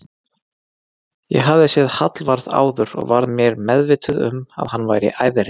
Ég hafði séð Hallvarð áður og var mér meðvituð um að hann væri æðri